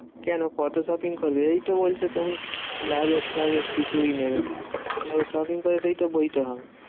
কেন? কত shopping করবে? এইতো বলছো তুমি luggage ফাগেজ কিছুই নেবে না। তাহলে shopping করে সেইটো বইতে হবে।